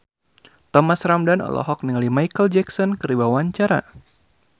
Thomas Ramdhan olohok ningali Micheal Jackson keur diwawancara